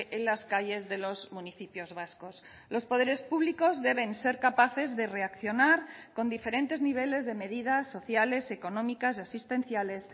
en las calles de los municipios vascos los poderes públicos deben ser capaces de reaccionar con diferentes niveles de medidas sociales económicas y asistenciales